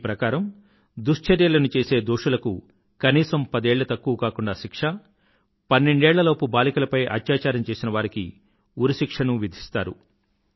దీని ప్రకారం దుశ్చర్యలను చేసే దోషులకు కనీసం పదేళ్ల తక్కువకాకుండా శిక్ష పన్నెండేళ్ల లోపూ బాలికపలై అత్యాచారం చేసినవారికి ఉరిశిక్షను విధిస్తారు